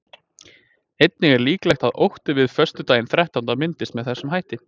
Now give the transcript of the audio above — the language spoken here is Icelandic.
Einnig er líklegt að ótti við föstudaginn þrettánda myndist með þessum hætti.